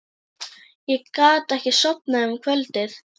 Ég gat ekki sofnað um kvöldið.